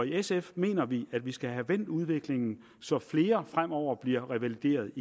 sf mener vi at vi skal have vendt udviklingen så flere fremover bliver revalideret